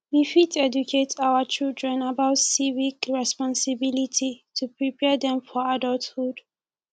we fit educate our children about civic responsibilities to prepare dem for adulthood